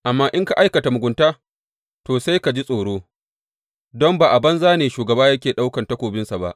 Amma in ka aikata mugunta, to, sai ka ji tsoro, don ba a banza ne shugaba yake ɗaukan takobinsa ba.